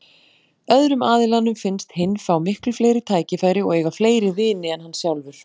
Öðrum aðilanum finnst hinn fá miklu fleiri tækifæri og eiga fleiri vini en hann sjálfur.